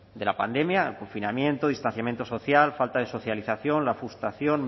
de la pandemia el confinamiento distanciamiento social falta de socialización la frustración